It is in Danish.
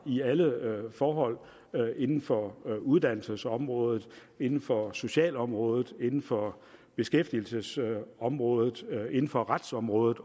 i alle forhold inden for uddannelsesområdet inden for socialområdet inden for beskæftigelsesområdet inden for retsområdet